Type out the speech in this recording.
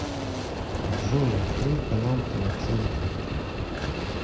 джой открой канал тв центр